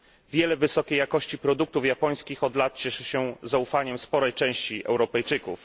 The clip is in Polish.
Wiele wysokiej jakości produktów japońskich od lat cieszy się zaufaniem sporej części Europejczyków.